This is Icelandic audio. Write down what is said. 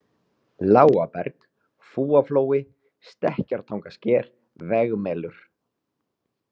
Lágaberg, Fúaflói, Stekkjartangasker, Vegmelur